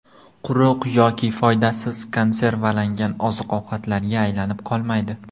Quruq yoki foydasiz konservalangan oziq-ovqatlarga aylanib qolmaydi.